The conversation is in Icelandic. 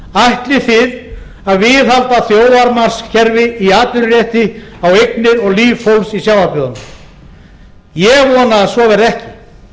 ætlið þið að viðhalda þjófamarkskerfi í atvinnurétti á eignir og líf fólksins í sjávarbyggðunum